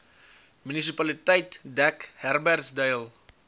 munisipaliteit dek herbertsdale